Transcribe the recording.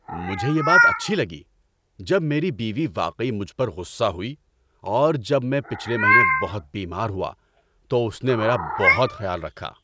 مجھے یہ بات اچھی لگی جب میری بیوی واقعی مجھ پر غصہ ہوئی اور جب میں پچھلے مہینے بہت بیمار ہوا تو اس نے میرا بہت خیال رکھا۔